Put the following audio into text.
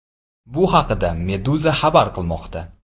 Bu haqda Meduza xabar qilmoqda .